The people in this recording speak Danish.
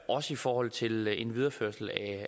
også i forhold til en videreførelse